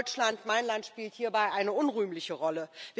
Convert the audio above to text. Deutschland mein Land spielt hierbei eine unrühmliche Rolle.